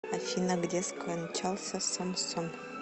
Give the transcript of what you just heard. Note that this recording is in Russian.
афина где скончался самсон